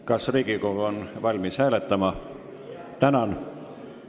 Kas Riigikogu on valmis hääletama?